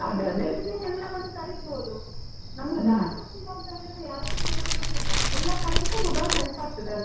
ಮನೆಗೆ ಎಲ್ಲವನ್ನು ತರಿಸ್ಬೋದು. ನಮಗೆ ಗೊತ್ತಿಲ್ಲ ಅಂತ ಹೇಳಿದ್ರೆ ಯಾರತ್ರ ಕೇಳ್ಬೇಕಂತ ಇಲ್ಲ, ಎಲ್ಲ ಕಡೆಗೇಸ mobile help ಆಗ್ತಾದೆ ಅಲ್ವ.